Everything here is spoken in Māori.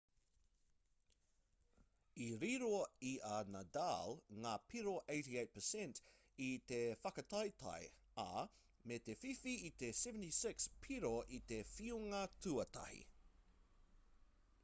i riro i a nadal ngā piro 88% i te whakataetae ā me te whiwhi i te 76 piro i te whiunga tuatahi